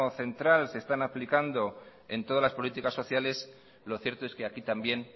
central se están aplicando en todas las políticas sociales lo cierto es que aquí también